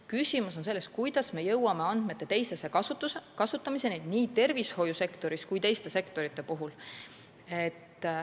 Küsimus on selles, kuidas me jõuame andmete teisese kasutamiseni nii tervishoiusektoris kui ka teistes sektorites.